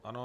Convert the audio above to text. Ano.